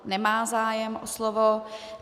Nemá zájem o slovo.